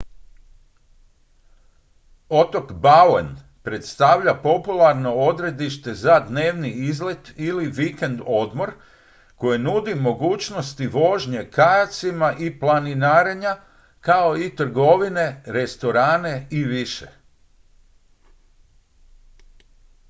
otok bowen predstavlja popularno odredište za dnevni izlet ili vikend-odmor koje nudi mogućnosti vožnje kajacima i planinarenja kao i trgovine restorane i više